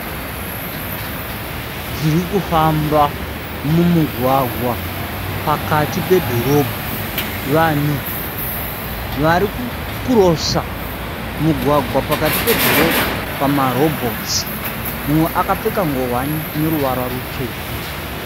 Dzirikufamba mumugwagwa pakati pedhorobha. Vanhu vari kukurosa mugwagwa pakati pedhorobha pamarobhotsi mumwe akapfenga ngowani ine ruvara rutsvuku.